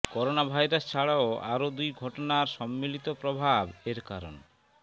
coronavirus ছাড়াও আরও দুই ঘটনার সম্মিলিত প্রভাব এর কারণ